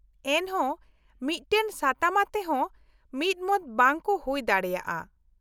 -ᱮᱱᱦᱚᱸ ᱢᱤᱫᱴᱟᱝ ᱥᱟᱛᱟᱢ ᱟᱛᱮ ᱦᱚᱸ ᱢᱤᱫᱢᱚᱛ ᱵᱟᱝ ᱠᱚ ᱦᱩᱭ ᱫᱟᱲᱮᱭᱟᱜᱼᱟ ᱾